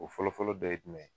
O fɔlɔfɔlɔ dɔ ye jumɛn ye